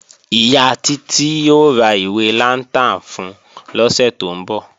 Ìyá Títí ó ra ìwé lantern fun lọ́sẹ̀ tó ń bọ̀